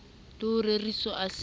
le ho reseo a se